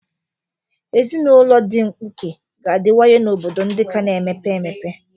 Ezinụlọ ndị mkpuke ga-adịwanye n'obodo ndị ka na-emepe emepe.